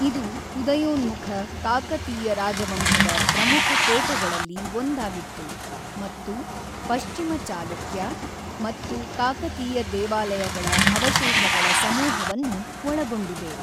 ಇದು ಉದಯೋನ್ಮುಖ ಕಾಕತೀಯ ರಾಜವಂಶದ ಪ್ರಮುಖ ಕೋಟೆಗಳಲ್ಲಿ ಒಂದಾಗಿತ್ತು ಮತ್ತು ಪಶ್ಚಿಮ ಚಾಲುಕ್ಯ ಮತ್ತು ಕಾಕತೀಯ ದೇವಾಲಯಗಳ ಅವಶೇಷಗಳ ಸಮೂಹವನ್ನು ಒಳಗೊಂಡಿದೆ.